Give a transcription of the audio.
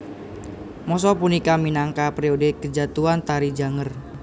Masa punika minangka periode kejatuhan Tari Janger